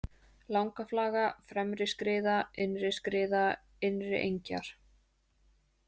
Langaflaga, Fremriskriða, Innriskriða, Innriengjar